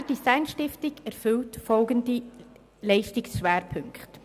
Die Berner Design Stiftung verfügt über folgende Leistungsschwerpunkte: